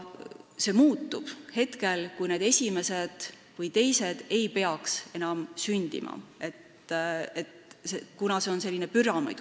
See muutub hetkel, kui need esimesed või teised lapsed ei peaks enam sündima, kuna see on selline püramiid.